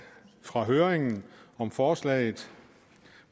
fra høringen om forslaget